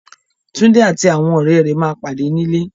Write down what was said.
Túndé àti àwọn rẹ̀ ma pàdé nílé